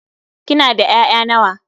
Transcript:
Kina da 'ya'ya nawa?